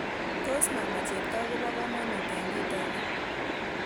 Tos' mama cheptoo kobokamanut eng' kit ainon